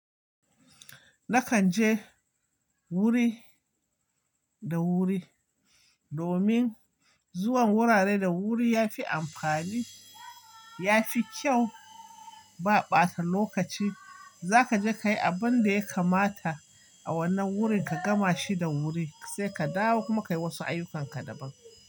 Nakan je wuri da wuri domin zuwan wurare da wuri ya fi amfani, ya fi kyau, ba ɓata lokaci. Zaka je kayi abinda ya kamata a wannan wurin, ka gama shi da wuri sai ka dawo kuma kayi wasu ayyukanka daban.